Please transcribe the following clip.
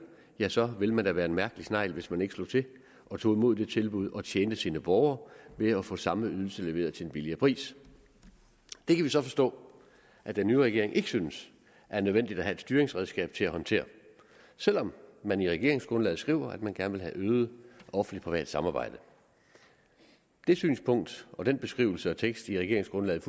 ja så ville man da være en mærkelig snegl hvis man ikke slog til og tog imod det tilbud og tjente sine borgere ved at få samme ydelse leveret til en billigere pris det kan vi så forstå at den nye regering ikke synes er nødvendigt at have et styringsredskab til at håndtere selv om man i regeringsgrundlaget skriver at man gerne vil have et øget offentligt privat samarbejde det synspunkt og den beskrivelse og tekst i regeringsgrundlaget